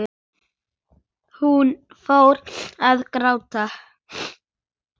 Hún fór að gráta.